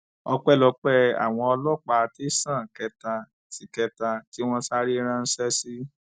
ọpẹlọpẹ àwọn ọlọpàá tẹsán kẹta tí kẹta tí wọn sáré ránṣẹ sí